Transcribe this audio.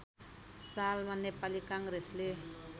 सालमा नेपाली काङ्ग्रेसले